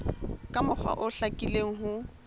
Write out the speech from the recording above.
ka mokgwa o hlakileng ho